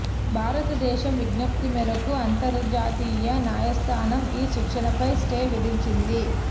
భారత దేశం విజ్ఞప్తి మేరకు అంతర్జాతీయ న్యాయస్థానం ఈ శిక్షపై స్టే విధించింది